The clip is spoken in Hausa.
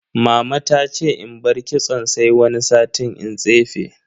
Mama ta ce in bar kitson sai wani sati in tsefe.